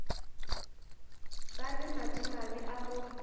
ba le madimabe a go